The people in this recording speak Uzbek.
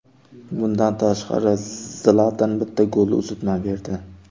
Bundan tashqari Zlatan bitta golli uzatma berdi.